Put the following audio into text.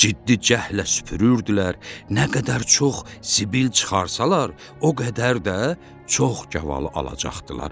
Ciddi cəhllə süpürürdülər, nə qədər çox zibil çıxarsalar, o qədər də çox gavalı alacaqdılar.